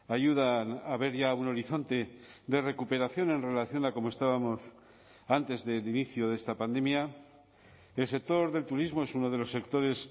ayudan a ver ya un horizonte de recuperación en relación a como estábamos antes del inicio de esta pandemia el sector del turismo es uno de los sectores